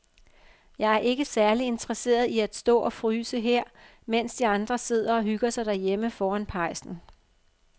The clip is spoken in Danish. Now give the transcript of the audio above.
Jeg er ikke særlig interesseret i at stå og fryse her, mens de andre sidder og hygger sig derhjemme foran pejsen.